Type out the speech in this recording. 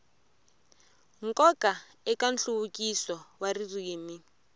nkoka eka nhluvukiso wa ririmi